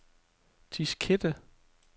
diskette